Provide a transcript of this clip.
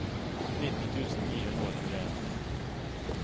nitti tusen ni hundre og tjueen